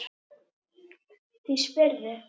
Því spyrðu?